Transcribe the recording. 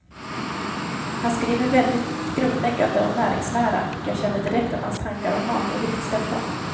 Han skriver väldigt grundläggande om näringslära, och jag kände direkt att hans tankar om mat och vikt stämde.